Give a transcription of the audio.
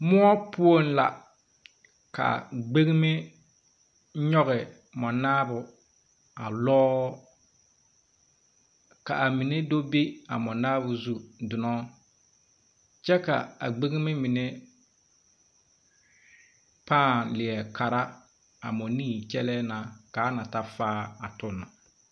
Weɛ poɔŋ la, ka gbeŋime nyɔge mɔnaabo a lɔɔ, ka a mine do be a mɔnaabo zu donɔ, kyɛ ka a gbeŋime mine pãã leɛ kara a mɔnii kyɛlɛɛ n aka a na ta faa a tɔ na.